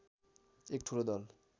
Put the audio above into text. एक ठुलो दल